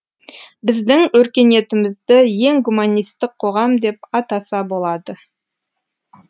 біздің өркениетімізді ең гуманистік қоғам деп атаса болады